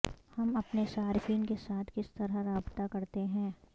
ہم اپنے صارفین کے ساتھ کس طرح رابطہ کرتے ہیں